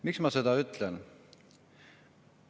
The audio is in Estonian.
Miks ma seda ütlen?